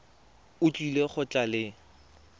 o tlile go tla le